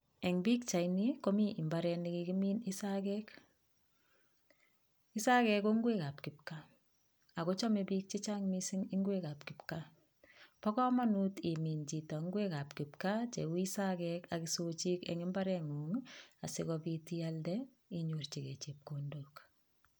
Eng' pikchaini komi mbaret nekikimin isagek, isagek ko ngwekab kipkaa akochomei biik chechang' mising' ngwekab kipkaa bo kamanut imin chito ngwek ab kipkaa cheu isakek ak isochik eng' imbareng'ung asikobit ialde inyorchigei chepkondok